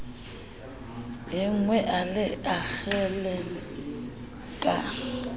enngwe a le akgele ka